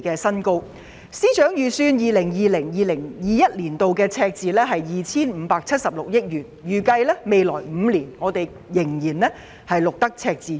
財政司司長預計 2020-2021 年度的赤字為 2,576 億元，並且預計未來5年仍會繼續錄得赤字。